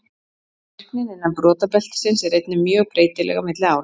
Virknin innan brotabeltisins er einnig mjög breytileg á milli ára.